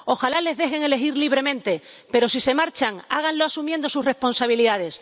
Ojalá les dejen elegir libremente, pero, si se marchan, háganlo asumiendo sus responsabilidades.